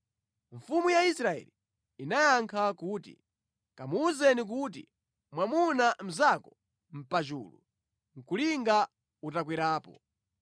Mfumu ya Israeli inayankha kuti, “Kamuwuzeni kuti, ‘Mwamuna mnzako nʼpachulu, nʼkulinga utakwerapo.’ ”